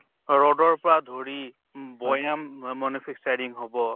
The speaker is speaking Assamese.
ৰদৰ পৰা ধৰি উম বৈয়াম অ manufacturing হʼব